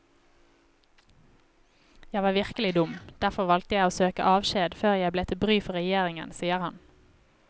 Jeg var virkelig dum, derfor valgte jeg å søke avskjed før jeg ble til bry for regjeringen, sier han.